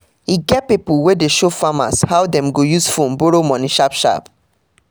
e get pipo wey de show farmer how dem go use phone borrow money sharp-sharp